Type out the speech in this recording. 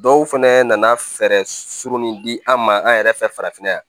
Dɔw fɛnɛ nana fɛɛrɛ sugu min di an ma an yɛrɛ fɛ farafinna yan